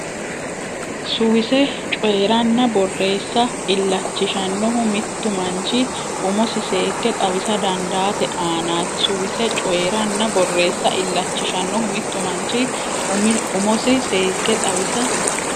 Suwise coyi ranna borreessa illachishshannohu mittu manchi umosi seekke xawisa dandaate aanaati Suwise coyi ranna borreessa illachishshannohu mittu manchi umosi seekke xawisa.